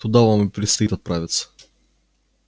туда вам и предстоит отправиться